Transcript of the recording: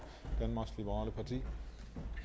har det